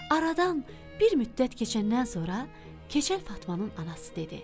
Aradan bir müddət keçəndən sonra Keçəl Fatmanın anası dedi: